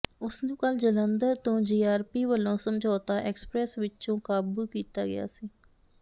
ਉਸ ਨੂੰ ਕੱਲ੍ਹ ਜਲੰਧਰ ਤੋਂ ਜੀਆਰਪੀ ਵੱਲੋਂ ਸਮਝੌਤਾ ਐਕਸਪ੍ਰੈਸ ਵਿੱਚੋਂ ਕਾਬੂ ਕੀਤਾ ਗਿਆ ਸੀ